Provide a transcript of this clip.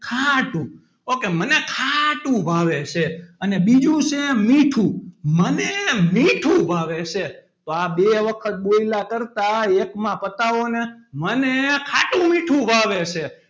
ખાટું okay મને ખાટું ભાવે છે અને બીજું છે મીઠું મને મીઠું ભાવે છે તો આ બે વખત બોલ્યાં કરતાં એકમાં પતાવોને મને ખાટું - મીઠું ભાવે છે.